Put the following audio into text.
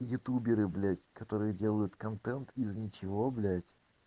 ютуберы блядь которые делают контент из ничего блядь